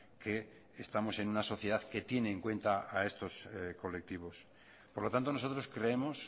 que estamos en una sociedad que tiene en cuenta a estos colectivos por lo tanto nosotros creemos